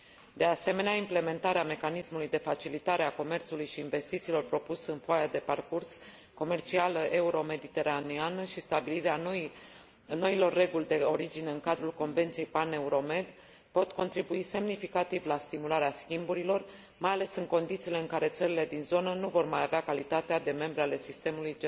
De asemenea, implementarea mecanismului de facilitare a comerțului și investițiilor propus în foaia de parcurs comercială euromediteraneeană și stabilirea noilor reguli de origine în cadrul Convenției Pan Euro Med, pot contribui semnificativ la stimularea schimburilor, mai ales în condițiile în care țările din zonă nu vor mai avea calitatea de membre ale sistemului